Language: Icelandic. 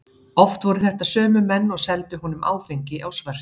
Oft voru þetta sömu menn og seldu honum áfengi á svörtu.